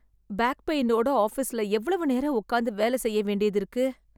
Back பெயினோட ஆஃபீஸ்ல எவ்வளவு நேரம் உட்காந்து வேல செய்ய வேண்டியது இருக்கு.